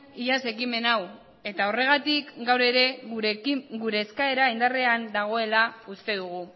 iaz ekimen hau eta horregatik gaur ere gure eskaera indarrean dagoela uste dugu